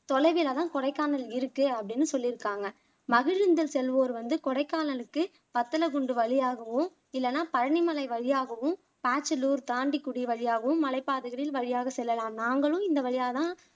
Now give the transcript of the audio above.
தொலைவில தான் கொடைக்கானல் இருக்கு அப்படின்னு சொல்லிருக்காங்க மகிழுந்தில் செல்வோர் வந்து கொடைக்கானலுக்கு வத்தலகுண்டு வழியாகவும் இல்லனா பழனிமலை வழியாகவும் தாண்டிக்குடி வழியாகவும் மலைப்பாதைகளில் வழியாக செல்லலாம் நாங்களும் இந்த வழியா தான்